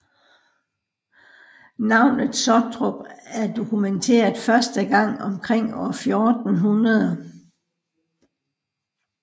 Navnet Sottrup er dokumenteret første gang omkring år 1400